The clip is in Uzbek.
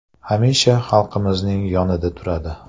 Hamisha xalqimizning yonida turadi.